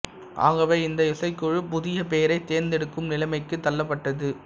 ஆகவே இந்த இசைக்குழு புதிய பெயரைத் தேர்ந்தெடுக்கும் நிலைமைக்குத் தள்ளப்பட்டது